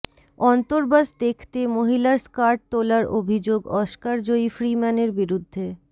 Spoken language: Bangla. অন্তর্বাস দেখতে মহিলার স্কার্ট তোলার অভিযোগ অস্কারজয়ী ফ্রিম্যানের বিরুদ্ধে